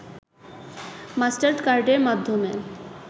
মাস্টারকার্ডের মাধ্যমে